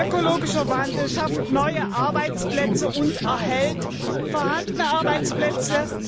Ökologischer Wandel schafft neue Arbeitsplätze und erhält vorhandene Arbeitsplätze.